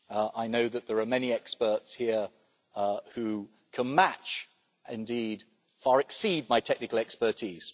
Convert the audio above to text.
I know that there are many experts here who can match, indeed far exceed, my technical expertise.